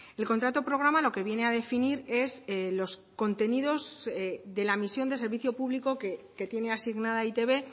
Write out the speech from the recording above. el contrato programa lo que viene a definir es los contenidos de la misión de servicio público que tiene asignada eitb